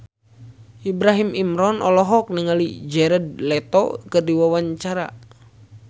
Ibrahim Imran olohok ningali Jared Leto keur diwawancara